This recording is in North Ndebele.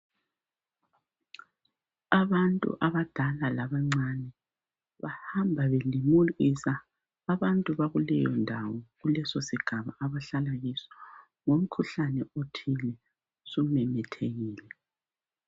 Abantu abadala labancane bahamba belimukisa abantu bakuleyondawo kuleso sigaba abahlala kiso ngomkhuhlane othile sumemethekile.